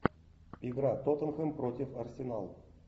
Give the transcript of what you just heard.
игра тоттенхэм против арсенал